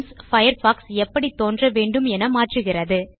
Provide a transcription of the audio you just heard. themeபயர்ஃபாக்ஸ் எப்படி தோன்றவேண்டும் என மாற்றுகிறது